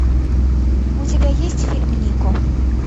у тебя есть фильм нико